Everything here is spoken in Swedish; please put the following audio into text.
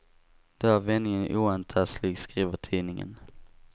Då är vändningen oantastlig, skriver tidningen.